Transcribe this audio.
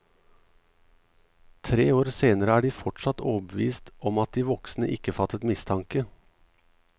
Tre år senere er de fortsatt overbevist om at de voksne ikke fattet mistanke.